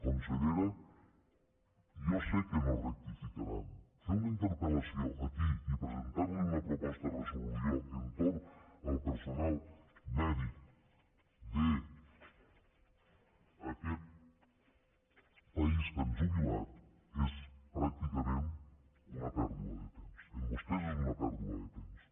consellera jo sé que no rectificaran fer una interpellació aquí i presentar li una proposta de resolució entorn al personal mèdic d’aquest país que han jubilat és pràcticament una pèrdua de temps en vostès és una pèrdua de temps